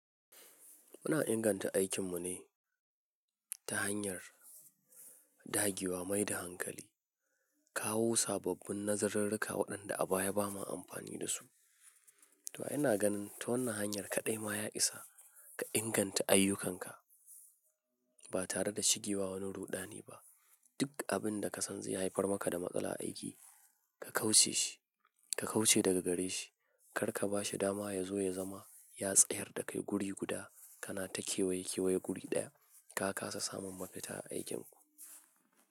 Muna inganta aikin mu ne ta hanyar dagewa mai da hankali, kawo sababbin nazarinruka waɗanda a baya ba ma amfani da su. To ina ganin ta wannan hanyar kaɗai ma ya isa ka inganta ayyukanka ba tare da shigewa wani ruɗani ba. Duk abin da ka san zai haifar maka da matsala a aiki, ka kauce shi, ka kauce daga gare shi. Kar ka bashi dama ya zo ya zama yatsayar da kai guri guda kana ta kewaye kewaye guri ɗaya. Ka kasa samun mafita a aikin ku.